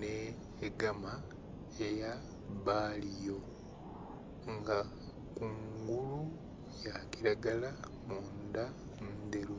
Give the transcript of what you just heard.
nhe gama eya baliyo nga kungulu yakilagala mundha ndheru